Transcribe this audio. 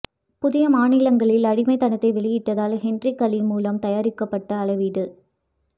புதிய மாநிலங்களில் அடிமைத்தனத்தை வெளியிட்டதில் ஹென்றி களி மூலம் தயாரிக்கப்பட்ட அளவீடு